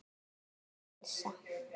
Birna og Elsa.